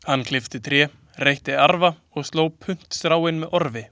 Hann klippti tré, reytti arfa og sló puntstráin með orfi.